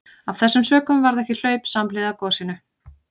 Af þessum sökum varð ekki hlaup samhliða gosinu.